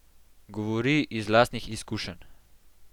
Govori iz lastnih izkušenj.